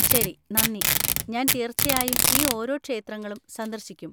ശരി, നന്ദി, ഞാൻ തീർച്ചയായും ഈ ഓരോ ക്ഷേത്രങ്ങളും സന്ദർശിക്കും!